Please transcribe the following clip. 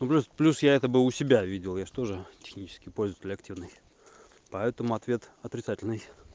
ну плюс плюс я это бы у себя видел я же тоже технический пользователь активный поэтому ответ отрицательный